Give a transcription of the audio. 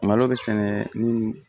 Malo bɛ sɛnɛ ni